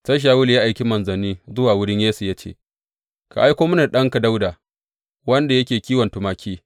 Sai Shawulu ya aiki manzanni zuwa wurin Yesse ya ce, Ka aiko mini da ɗanka Dawuda wanda yake kiwon tumaki.